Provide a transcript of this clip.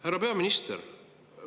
Härra peaminister!